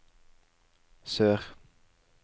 sør